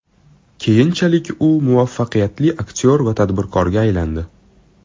Keyinchalik u muvaffaqiyatli aktyor va tadbirkorga aylandi.